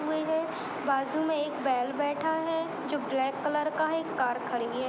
बाजू में एक बैल बैठा है जो ब्लैक कलर का है एक कार खड़ी है।